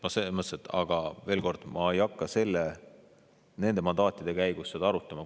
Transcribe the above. Ent veel kord, ma ei hakka nende mandaatide küsimise käigus seda arutama.